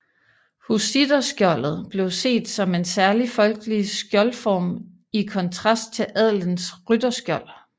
Hussitterskjoldet blev set som en særligt folkelig skjoldform i kontrast til adelens rytterskjold